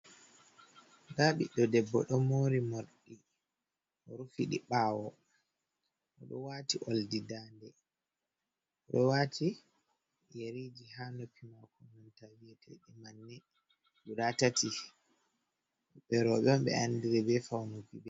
Ndaa ɓiɗɗo debbo, ɗo moori moorɗi rufiɗi ɓaawo.O ɗo waati oldi daande, o ɗo waati yariji haa noppi maako manta, vi'eteeɗi manne guda tati. Ɓe rowɓe ɓe andiri be fawnuki ɗi.